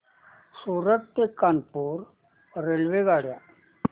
सूरत ते कानपुर रेल्वेगाड्या